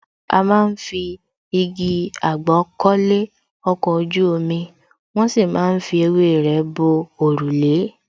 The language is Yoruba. A má ń fi igi àgbọn kọ́lé, ọkọ̀ ojú omi, wón sì má ń fi ewé rẹ bo òrùlé